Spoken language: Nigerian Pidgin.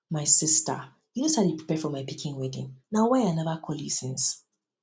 my sister you no say i dey prepare for my pikin wedding na why i never call you since